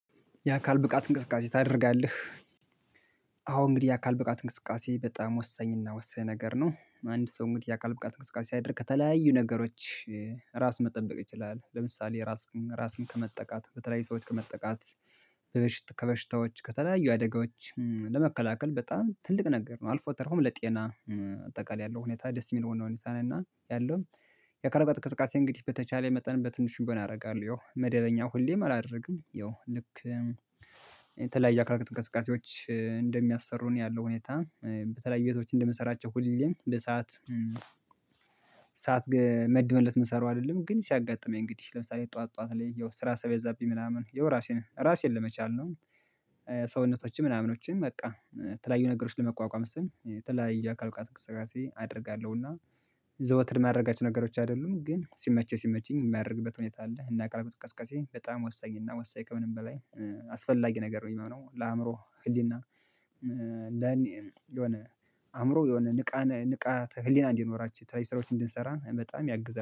የአካል ብቃት እንቅስቃሴ ታደርጋለህ? አዎ እንግዲህ የአካል ብቃት እንቅስቃሴ በጣም ወሳኝና ወሳኝ ነገር ነው። አንድ ሰው እንግዲህ የአካል ብቃት እንቅስቃሴ ሲያደርግ ከተለያዩ ነገሮች ራስ መጠበቅ ይችላል። ለምሳሌ ራስን ራስን ከመጠቃት በተለያዩ ሰዎች ከመጠቃት ከበሽታዎች ከተለያዩ አደጋዎች ለመከላከል በጣም ትልቅ ነገር ነው። አልፎተርፎም ለጤና አጠቃላይ ያለው ሁኔታ ደስ የሚል ነው ሁኔታ ነው። እና ያለው የአካል ብቃት እንቅስቃሴ እንግዲህ በተቻለኝ መጠን በትንሹ ቢሆን አደረጋለው። ያው መደበኛ ሁሌም አላደርግም ያው ልክ የተለያዩ የአካል ብቃት እንቅስቃሴዎች እንደሚያሰሩን ያለው ሁኔታ በተለያየ ቤቶች እንደምንሰራቸው ሁሌም በሰአት ሳት መድበንለት የምሰራው አይደለም። ግን ሲያጋጥም እንግዲህ ለምሳሌ ጠዋት ጠዋት ላይ ያው ስራ ሲበዛቢኝ ምናምን ያው ራሴን ራሴን ለመቻል ነው። ሰውነቶችም ምናምኖችም በቃ የተለያዩ ነገሮችን ለመቋቋም ስል ተለያዩ የአካል ብቃት ትንቅስቃሴ አደርጋለሁና። ዘወትር ማድረጋችሁ ነገሮች አይደሉም ግን ሲመቸ ሲመቸኝ የማያደርግበት ሁኔታ አለ። እና የአካል ብቃት እንቅስቃሴ በጣም ወሳኝ እና ወሳኝ ከምንም በላይ አስፈላጊ ነገር ነው የሚሆነው ለአእምሮ ህሊና ለ የሆነ አእምሮ የሆነ ንቃነ ንቃተ ህሊና እንዲኖራችሁ የትለያዩ ስራዎች እንድንሰራ በጣም ያግዛል